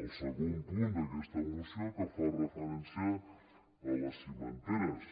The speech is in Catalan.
al segon punt d’aquesta moció que fa referència a les cimenteres